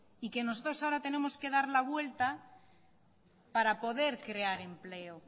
y que nosotros ahora tenemos que dar la vuelta para poder crear empleo